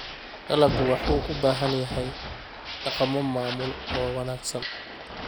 Dalaggu wuxuu u baahan yahay dhaqammo maamul oo wanaagsan.